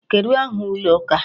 Kedụ aha ụlọ ụka a?